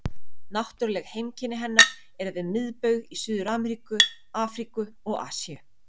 Náttúruleg heimkynni hennar eru við miðbaug í Suður-Ameríku, Afríku og Asíu.